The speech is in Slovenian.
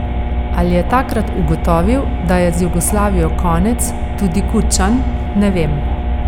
Ali je takrat ugotovil, da je z Jugoslavijo konec, tudi Kučan, ne vem.